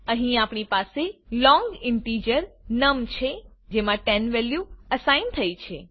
અહીં આપણી પાસે લોંગ ઈન્ટીજર નમ છે જેમાં 10 વેલ્યુ અસાઇન થઇ છે